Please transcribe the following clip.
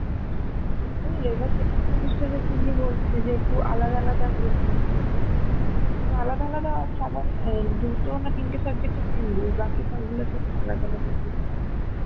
বুঝলে second semester এ বলছে যে একটু আলাদা আলাদা group করতে তো আলাদা আলাদা সবাই আ দুটো না তিনটে subject এ বাকি সবগুলোতে তো আলাদা আলাদা group আছে